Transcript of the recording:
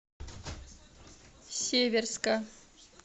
северска